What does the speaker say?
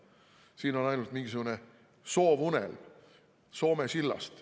Siin on ainult mingisugune soovunelm Soome sillast.